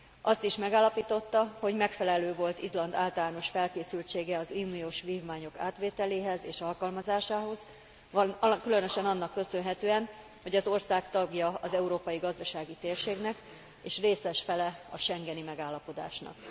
Azt is megállapította, hogy megfelelő volt Izland általános felkészültsége az uniós vívmányok átvételéhez és alkalmazásához, különösen annak köszönhetően, hogy az ország tagja az Európai Gazdasági Térségnek és részes fele a schengeni megállapodásnak.